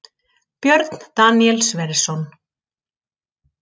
Björn Daníel Sverrisson